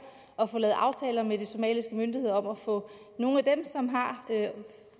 at få lavet aftaler med de somaliske myndigheder om at få nogle af dem som har